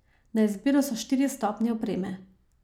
Na izbiro so štiri stopnje opreme.